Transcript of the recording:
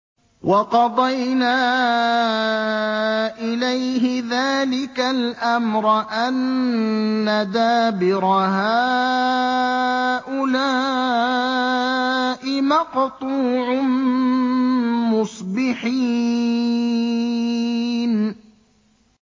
وَقَضَيْنَا إِلَيْهِ ذَٰلِكَ الْأَمْرَ أَنَّ دَابِرَ هَٰؤُلَاءِ مَقْطُوعٌ مُّصْبِحِينَ